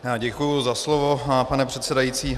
Děkuji za slovo, pane předsedající.